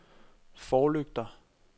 forlygter